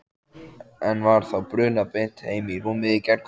En var þá brunað beint heim í rúmið í gærkvöld?